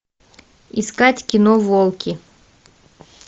искать кино волки